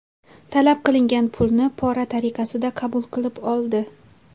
Talab qilingan pulni pora tariqasida qabul qilib oldi.